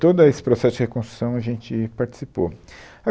Todo aí, esse processo de reconstrução, a gente participou